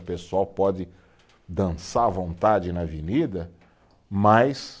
O pessoal pode dançar à vontade na avenida, mas